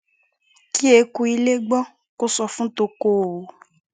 kí eku ilé gbọ kó sọ fún toko o